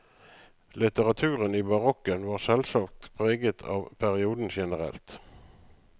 Litteraturen i barokken var selvsagt preget av perioden generelt.